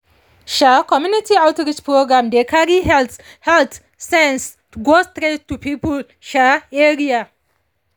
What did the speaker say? um community outreach programs dey carry health health sense go straight to people um area